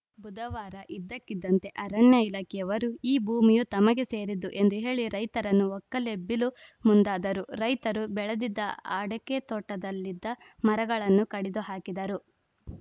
ಬುಧವಾರ ಇದ್ದಕ್ಕಿದ್ದಂತೆ ಅರಣ್ಯ ಇಲಾಖೆಯವರು ಈ ಭೂಮಿಯು ತಮಗೆ ಸೇರಿದ್ದು ಎಂದು ಹೇಳಿ ರೈತರನ್ನು ಒಕ್ಕಲೆಬ್ಬಿಲು ಮುಂದಾದರು ರೈತರು ಬೆಳೆದಿದ್ದ ಅಡಕೆ ತೋಟದಲ್ಲಿದ್ದ ಮರಗಳನ್ನು ಕಡಿದು ಹಾಕಿದರು